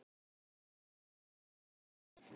Svo kom gosið!